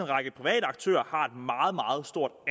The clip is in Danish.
række private aktører har meget meget stort